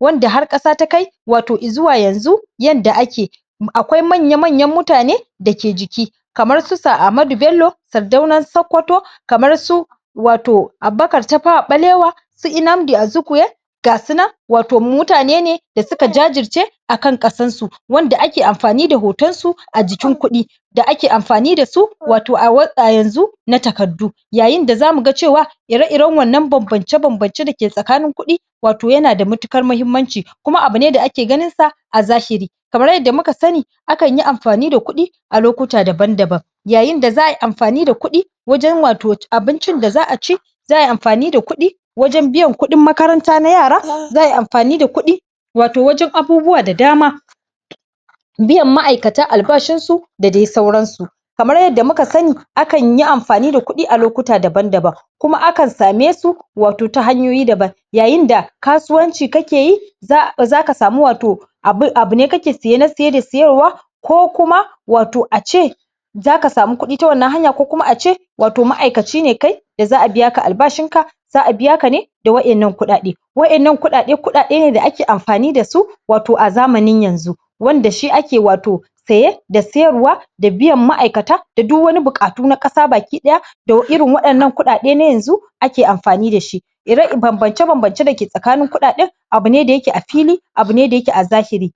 wanda har ƙasa ta kai, wato izuwa yanzu yadda ake akwai manya-manyan mutane dake jiki kamar su Sir Ahmadu ,Bello Sardaunan Sokoto. kamar su wato Abubuakar Tafawa ɓalewa Nnamdi Azikwe gasu nan wato mutane ne da suka jajirce akan ƙasarsu. wanda ake amfani da hoton su a jikin kuɗi ake amfani dasu wato a yanzu na takardu yayin da zamu ga cewa ire-iren wannan banbance-banbance da ke tsakanin kuɗi, wato yana da matuƙar muhimmanci kuma abu ne da ake ganin sa, a zahiri. kamr yadda dai muka sa akan yi mafani da kuɗi, a lokuta daban-daban. yayi za a yi amfani da kuɗi wajen wato abincin da za aci za ayi amfani da kuɗi wajen biyan kuɗin makaranta na yara, za ayi amfani da kuɗi wato wajen abubuwa da dama. Biyan ma'aikata albashinsu, da dai sauransu. Kamar yadda muka sani, akan yi amfani da kuɗi a lokuta daban-daban. kuma akan same su wato a hanyoyi daban yayin da kasuwanci kake yi, um zaka sami wato um abune ka ke siye na siye da um siyarwa ko kuma wato ace zaka sami kuɗi ta wannan hanya ko kuma ace, wato ma'aikaci ne kai, da za a biyaka albashinka za a biyaka ne da wa'yannan kuɗaɗe. Wa'yannan kuɗaɗe kuɗaɗe ne da ake amfani dasu, wato a zamanin yanzu wanda shi ake wato saye da siyarwa da biyan ma'aikata da duk wani buƙatu na ƙasa ba ki ɗaya da [um]irin waɗannan kuɗaɗe na yanzu ake amfani dashi. um banbance-banbance dake tsakanin kuɗaɗen abu ne da yake a fili abune da yaka a zahiri.